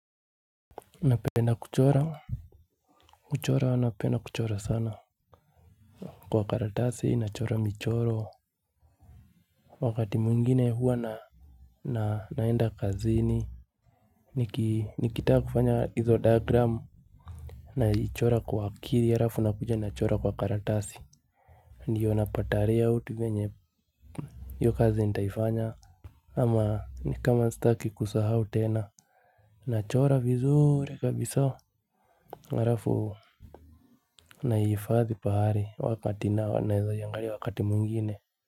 Napenda kuchora. Kuchora napenda kuchora sana. Kwa karatasi nachora michoro. Wakati mwingine huwa na naenda kazini. Nikitaa kufanya hizo diagram. Naichora kwa akiri harafu nakuja nachora kwa karatasi. Ndiyo napata rayout venye iu kazi nitaifanya ama ni kama sitaki kusahau tena. Nachora vizuri kabisaa. Harafu na iifadhi pahari wakati naa wa naeza iangari wakati mwingiine.